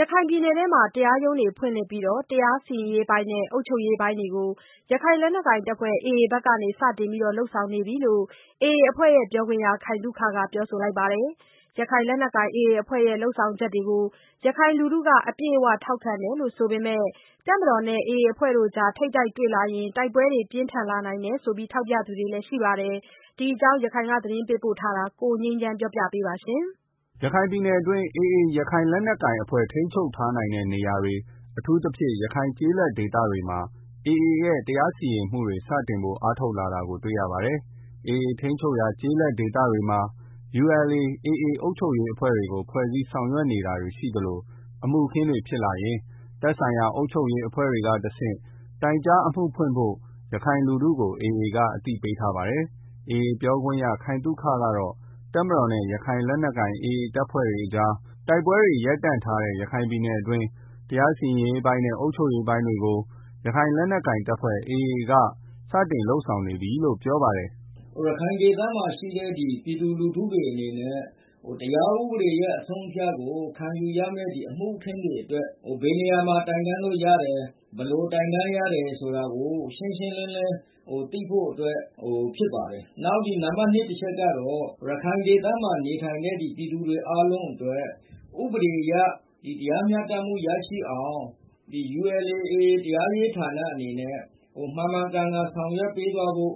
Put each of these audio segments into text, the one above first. ရခိုင်ပြည်နယ်အတွင်း တရားရုံးတွေ ဖွင့်လှစ်ပြီး တရားစီရင်ရေးပိုင်းနဲ့ အုပ်ချုပ်ရေး ပိုင်းတွေကို ရခိုင် လက်နက်ကိုင် AAအဖွဲ့ဖက်က စတင်ပြီး လုပ်ဆောင်နေပြီလို့ AA အဖွဲ့ ပြောခွင့်ရ ခိုင်သုခ ကပြောပါတယ်။ ရခိုင်လက်နက်ကိုင် AAအဖွဲ့ရဲ့ လုပ်ဆောင်ချက်တွေကို ရခိုင်လူထုက အပြည့် အဝထောက်ခံတယ်ဆိုပေမယ့် တပ်မတော်နဲ့ AAအဖွဲ့ကြားထိပ်တိုက်တွေ့လာရင် တိုက်ပွဲတွေ ပြင်းထန်လာနိုင်တယ်လို့လည်း ထောက်ပြသူတွေရှိပါတယ်။ ဒီအကြောင်း ရန်ကုန်ကလာတဲ့သတင်းကို ကိုငြိမ်းချမ်းပြောပြထားပါတယ်။ ရခိုင်ပြည်နယ်တွင်း AA ရခိုင်လက်နက်ကိုင်အဖွဲ့ထိန်းချုပ်ထားနိုင်တဲ့နေရာ၊ အထူးသဖြင့် ရခိုင်ကျေးလက်ဒေသတွေမှာ AA ရဲ့ တရားစီရင်မှုတွေ စတင်ဖို့ အားထုတ်လာတာတွေ့ရပါတယ်။ AA ထိန်းချုပ်ရာ ကျေးလက်ဒေသတွေမှာ ULA/AA အုပ်ချုပ်ရေးအဖွဲ့တွေကို ဖွဲ့စည်းဆောင်ရွက်နေတာရှိသလို၊ အမှုအခင်းတွေဖြစ်လာရင် သက်ဆိုင်ရာအုပ်ချုပ်ရေးအဖွဲ့တွေကတဆင့် တိုင်ကြား အမှုဖွင့်ဖို့ ရခိုင်လူထုကို AA က အသိပေးထားပါတယ်။ AA ပြောခွင့်ရသူ ခိုင်သုခကတော့ တပ်မတော်နဲ့ ရခိုင်လက်နက်ကိုင် AAအဖွဲ့ကြား တိုက်ပွဲတွေ ရပ်တန့်ထားတဲ့ရခိုင်ပြည်နယ်အတွင်း တရားစီရင်ရေးပိုင်းနဲ့ အုပ်ချုပ်ရေးပိုင်းတွေကို ရခိုင် လက်နက်ကိုင် AAအဖွဲ့ဖက်က စတင်ပြီး လုပ်ဆောင်နေပြီလို့ ပြောပါတယ်။ “ ရခိုင်ဒေသမှာ ရှိတဲ့ ပြည်သူလူထုတွေအနေနဲ့ တရားဥပဒေအဆုံးအမကို ခံယူရမယ့် အမှု အခင်းတွေ အတွက် ဘယ်နေမှာ တိုင်တန်းလို့ ရတယ်။ ဘယ်လိုတိုင်တန်း လို့ရတယ်ဆိုတာ ကို ရှင်းရှင်းလင်းလင်းသိဖို့အတွက် ဖြစ်ပါတယ်။ နောက်နံပတ် ၂ အချက် ကတော့ ရခိုင် ဒေသမှာ နေထိုင်တဲ့ ပြည်သူတွေ အားလုံးအတွက် ဥပဒေအရတရားမျှတမှုရရှိအောင် ULA/ AAတရားရေး ဌာနအနေနဲ့ မှန်မှန်ကန်ကန်ဆောင်ရွက်ပေးသွားဖို့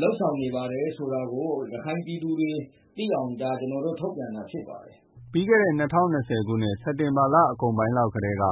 လုပ်ဆောင် နေပါ တယ်ဆို တာကို ရခိုင်ပြည်သူတွေ သိအောင် ကျနော်တို့ ထုတ်ပြန်တာဖြစ်ပါတယ်။” ပြီးခဲ့တဲ့ ၂၀၂၀ခုနှစ်၊ စက်တင်ဘာလ အကုန်ပိုင်းလောက်ကတည်းက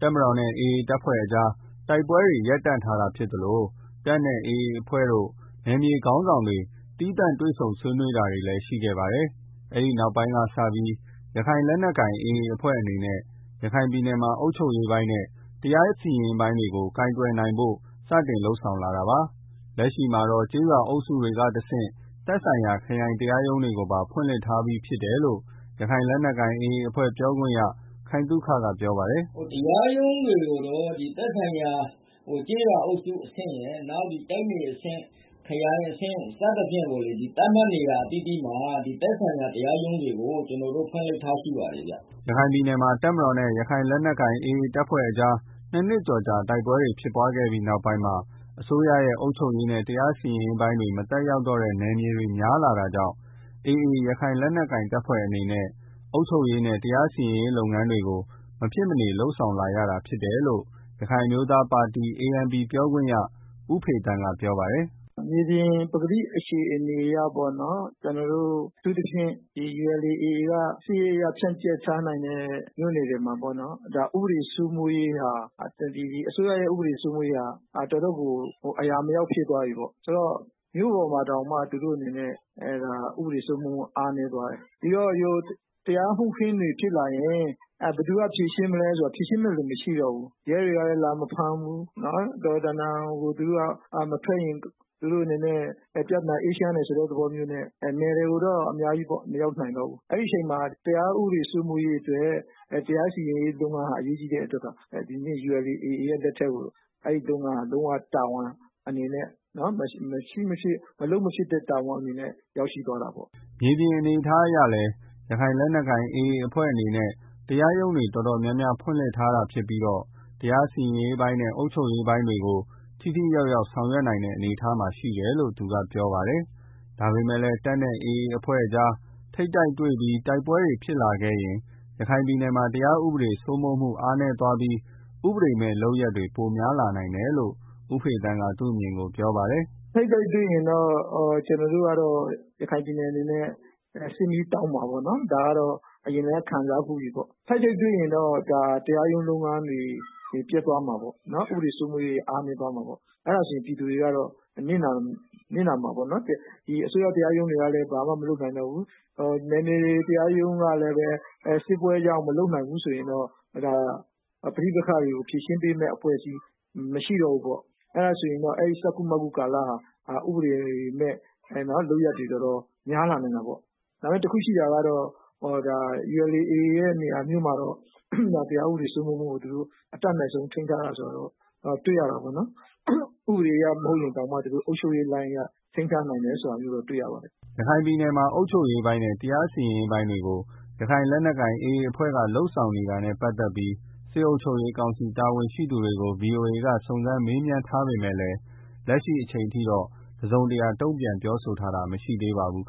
တပ်မတော်နဲ့ AA အဖွဲ့ကြားတိုက်ပွဲတွေ ရပ်တန့်ထားတာဖြစ်သလို တပ်နဲ့ AAအဖွဲ့တို့ နယ်မြေခေါင်းဆောင်တွေ သီးသန့်တွေ့ဆုံးဆွေးနွေးတာတွေလည်းရှိခဲ့ပါတယ်။ အဲဒီနောက်ပိုင်းက စပြီး ရခိုင်လက်နက်ကိုင် AA အဖွဲ့အနေနဲ့ ရခိုင်ပြည်နယ်မှာအုပ်ချုပ်ရေးပိုင်းနဲ့ တရားစီရင်ရေးပိုင်းတွေကို ကိုင်တွယ် နိုင်ဖို့ စတင်လုပ်ဆောင်လာ တာလည်းဖြစ်ပါတယ်။ လက်ရှိမှာတော့ ကျေးရွာအုပ် စုကနေတစ် ဆင့် သက်ဆိုင်ရာ ခရိုင်တရားရုံးတွေကိုပါ ဖွင့်လှစ်ထားပြီးဖြစ်တယ်လို့ ရခိုင်လက်နက်ကိုင် AAအဖွဲ့ ပြောခွင့်ရ ခိုင်သုခကပြောပါတယ်။ “ တရားရုံးတွေကိုတော့ သက်ဆိုင်ရာ ကျေးရွာအုပ်စုအဆင့် တိုက်နယ်အဆင့် ခရိုင်အဆင့် စသဖြင့်ကို သတ်မှတ်နေရာ အသီးသီးမှာ သက်ဆိုင်ရာ တရားရုံးတွေကို ကျနော်တို့ ဖွင့်လှစ် ထားရှိပါတယ်ဗျာ။” ရခိုင်ပြည်နယ်မှာ တပ်မတော်နဲ့ ရခိုင်လက်နက်ကိုင် AAအဖွဲ့ကြား နှစ်နှစ်ကျော်ကြာ တိုက်ပွဲ ဖြစ်ပွားပြီးတဲ့နောက်ပိုင်းမှာ အစိုးရရဲ့ အုပ်ချုပ်ရေးနဲ့ တရားစီရင်ရေး ပိုင်းတွေမသက်ရောက် တော့တဲ့ နေရာတွေ များလာတာကြောင့် ရခိုင်လက်နက်ကိုင် AAအဖွဲ့အနေနဲ့ အုပ်ချုပ်ရေးနဲ့ တရားစီရင်ရေးလုပ်ငန်းတွေကို မဖြစ်မနေ လုပ်ဆောင်လာရတာဖြစ်တယ်လို့လည်း ရခိုင်အမျိုးသားပါတီ ANP ပြောခွင့်ရ ဦးဖေသန်းက ပြောပါတယ်။ “ မြေပြင်ပကတိအနေအထားအရ အထူးသဖြင့် ULA/AA က စစ်ရေးအရ ဖြန့်ကျက်ထားတဲ့ မြို့နယ်တွေမှာပေါ့နော်၊ အစိုးရရဲ့ ဥပဒေစိုးမိုးမှုဟာ တော်တော့ကို အရာမရောက်ဖြစ်သွားပြီ။ မြို့ပေါ်မှာ တောင်မှ သူတို့အနေနဲ့ ဥပဒေစိုးမိုးမှု အားနည်းသွားတယ်။ ဆိုတော့ တရားမှုခင်း တွေ ဖြစ်လာရင် ဘယ်သူဖြေရှင်းမလဲ ဆိုတော့ ဖြေရှင်းမယ့်သူ မရှိတော့ဘူး။ ရဲတွေကလည်း လာမဖမ်းတော့ဘူး။ သူတို့ကလည်း မထွက် ရင် ပြဿနာ အေးချမ်းတယ်ဆိုတဲ့ သဘောမျိုးနဲ့ နယ်တွေကို မရောက်နိုင်တော့ဘူး။ ဒါကြောင့်တရား ဥပဒေစိုးမိုးရေးအတွက် တရားစီရင်ရေး လုပ် ငန်းဟာ အရေးကြီးတဲ့ အတွက် ဒီနေ့ ULAရဲ့ လက်ထဲကို လုံးဝ မလုပ်မဖြစ်တဲ့ တာဝန်အနေနဲ့ ရောက်ရှိသွားတာပေါ့။” မြေပြင်အနေအထားအရလည်း ရခိုင်လက်နက်ကိုင် AAအဖွဲ့အနေနဲ့ တရားရုံးတွေ တော်တော် များများ ဖွင့်လှစ်ထားတာရှိပြီး တရားစီရင်ပိုင်းနဲ့ အုပ်ချုပ်ရေးပိုင်းတွေကို ထိထိရောက် ရောက်ဆောင်ရွက်နိုင်တဲ့ အနေအထားမှာရှိတယ်လို့လည်း သူကဆက်ပြောပါတယ်။ ဒါပမေမယ့်လည်း တပ်နဲ့ AAအဖွဲ့တို့ကြား ထိပ်တိုက်တွေ့ပြီး တိုက်ပွဲတွေပြန်ဖြစ်လာခဲ့ရင် ရခိုင်ပြည် နယ်မှာ တရားဥပေဒစိုးမိုးမှု အားနည်းသွားပြီး ဥပဒေမယ့် လုပ်ရပ်တွေ ပိုများ လာနိုင်တယ်လို့လည်း ဦးဖေသန်းက သူ့အမြင်ကို ပြောပါတယ်။ “ထိပ်တိုက်တွေ့ရင်တော့ ရခိုင်ပြည်နယ် အနေနဲ့ စစ်မီးတောက်မှာပေါ့နော်။ အရင်ကလည်း ခံစားဖူးပါပြီ။ ပြီးတော့ ထိပ်တိုက်တွေ့ရင်တော့ တရားရုံးလုပ်ငန်းတွေ ပျက်သွားမှာပေါ့။ ဥပဒေစိုးမိုးရေးတွေ အားနည်းသွားမယ် ပြည်သူတွေ နစ်နာမယ်။ အစိုးရတရားရုံးတွေက လည်းဘာမှ မလုပ်နိုင်တော့ဘူး နယ်မြေတရားရုံးတွေကလည်း စစ်ပွဲကြောင့် မလုပ်နိုင်ဘူး ဆိုရင်တော့ ဒါ ပဋိပက္ခတွေကို ဖြေရှင်းပေမယ့် အဖွဲ့အစည်းမရှိတော့ဘူးပေါ့။ ဆိုတော့ အဲဒီကာလမှာ ဥပဒေမယ့် လုပ်ရပ်တွေ များလာနိုင်တာပေါ့။ တစ်ခုရှိတာကတော့ ULA/ AAရဲ့ နေရာမျိုးမှာတော့ တရားဥပဒေစိုးမိုးမှုကို အတတ်နိုင်ဆုံး ထိန်းထားတယ်ဆိုတာကိုတော့ တွေ့ရတယ်။ ဥပဒေအရ မဟုတ်ရင်တောင်မှာ အုပ်ချုပ်ရေး လိုင်အရ သူတို့ ထိန်းထားတယ်ဆိုတာကို တွေ့ရပါတယ်။” ရခိုင်ပြည်နယ်မှာ အုပ်ချုပ်ရေးပိုင်းနဲ့ တရားစီရင်ရေး ပိုင်းတွေကို ရခိုင်လက်နက်ကိုင်AAအဖွဲ့က လုပ်ဆောင်နေတာနဲ့ ပတ်သက်ပြီးတော့ စစ်အုပ်ချုပ်ရေးကောင်စီတာဝန်ရှိသူတွေကို VOA ကစုံစမ်းမေးမြန်းထားပေမယ့် လက်ရှိအချိန်ထိ တစုံတရာ တုန့်ပြန်ပြောဆိုထားတာမျိုးမရှိသေးပါဘူး။